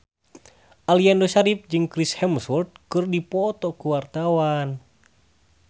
Aliando Syarif jeung Chris Hemsworth keur dipoto ku wartawan